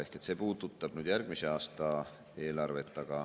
Ehk see puudutab järgmise aasta eelarvet.